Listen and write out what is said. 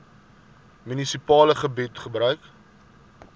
munisipale gebied gebruik